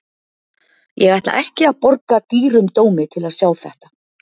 Ég ætla ekki að borga dýrum dómi til að sjá þetta.